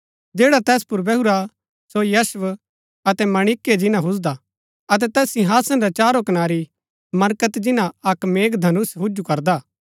जैडा तैस पुर बैहुरा सो यशब अतै माणिक्य जिन्‍ना हुजदा अतै तैस सिंहासन रै चारो कनारै मरकत जिन्‍ना अक्क मेघधनुष हुजु करदा